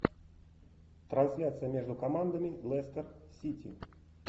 трансляция между командами лестер сити